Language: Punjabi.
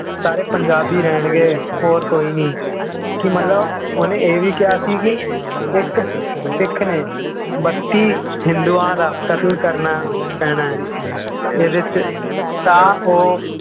ਸਾਰੇ ਪੰਜਾਬੀ ਰਹਿਣਗੇ, ਹੋਰ ਕੋਈ ਨੀ ਕਿ ਮਤਲਬ ਉਹਨੇ ਇਹ ਵੀ ਕਿਹਾ ਸੀ ਕਿ ਇੱਕ ਸਿੱਖ ਨੇ ਬੱਤੀ ਹਿੰਦੂਆਂ ਦਾ ਕਤਲ ਕਰਨਾ ਪੈਣਾ ਹੈ ਇਹਦੇ 'ਚ ਤਾਂ ਉਹ